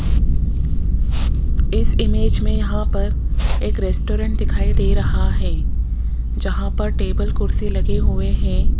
इस इमेज मे यहां पर एक रेस्टोरेंट दिखाई दे रहा है जहां पर टेबल कुर्सी लगे हुए है।